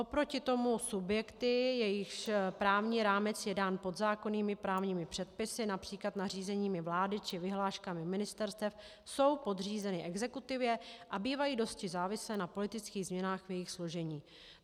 Oproti tomu subjekty, jejichž právní rámec je dán podzákonnými právními předpisy, například nařízeními vlády či vyhláškami ministerstev, jsou podřízeny exekutivě a bývají dosti závislé na politických změnách v jejich složení.